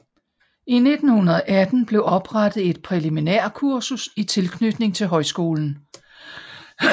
I 1918 blever oprettet et præliminærkursus i tilknytning til højskolen